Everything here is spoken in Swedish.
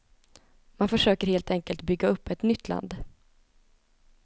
Man försöker helt enkelt bygga upp ett nytt land.